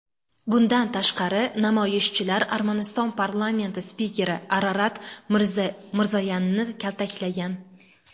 Bundan tashqari, namoyishchilar Armaniston parlamenti spikeri Ararat Mirzoyanni kaltaklagan .